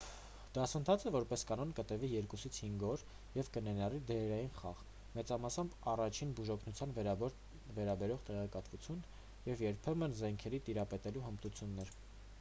դասընթացը որպես կանոն կտևի 2-5 օր և կներառի դերային խաղ մեծամասամբ առաջին բուժօգնությանը վերաբերող տեղեկատվություն և երբեմն զենքերի տիրապետելու հմտություններ